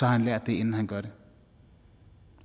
har han lært det inden han gør det